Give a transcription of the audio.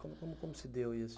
Como se deu isso?